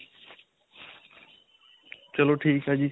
ਚਲੋ ਠੀਕ ਹੈ ਜੀ.